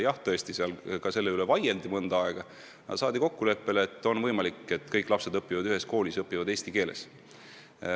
Jah, tõesti, seal ka selle üle vaieldi mõnda aega, aga jõuti kokkuleppele, et on võimalik, et kõik lapsed õpivad ühes koolis ja õpivad eesti keeles.